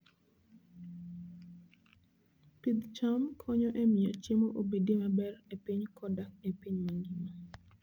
Pidh cham konyo e miyo chiemo obedie maber e piny koda e piny mangima.